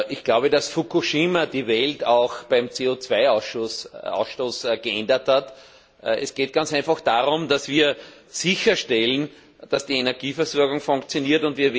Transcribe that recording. Ich glaube, dass Fukushima die Welt auch beim CO Ausstoß geändert hat. Es geht ganz einfach darum, dass wir sicherstellen, dass die Energieversorgung funktioniert.